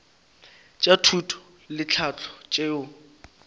tša thuto le tlhahlo tšeo